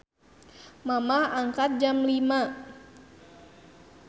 Mamah angkat jam 05.00